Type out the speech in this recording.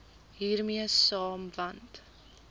hiermee saam want